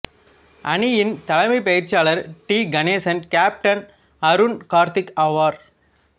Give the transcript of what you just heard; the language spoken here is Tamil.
அணியின் தலைமை பயிற்சியாளர் டி கணேஷ் கேப்டன் அருண் கார்த்திக் ஆவர்